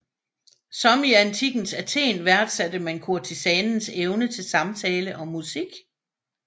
Som i antikkens Athen værdsatte man kurtisanens evne til samtale og musik